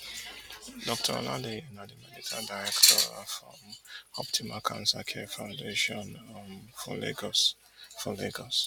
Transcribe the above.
dr olaleye na di medical director of um optimal cancer care foundation um for lagos for lagos